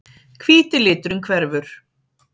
Hvíti liturinn hverfur.